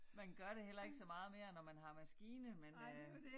Man gør det heller ikke så meget mere når man har maskine men øh